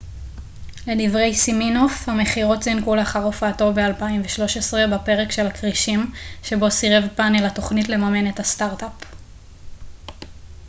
לדברי סימינוף המכירות זינקו לאחר הופעתו ב-2013 בפרק של הכרישים שבו סירב פנל התכנית לממן את הסטארט-אפ